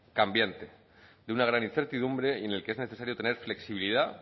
cambiante de una gran incertidumbre y en el que es necesario tener flexibilidad